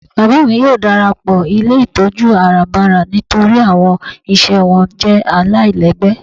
Bábá mi yóò darapọ ilé itọju àràbárà nítorí awọn iṣẹ wọn jẹ́ àláilègbé.